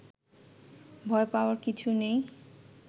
ভয় পাওয়ার কিছু নেই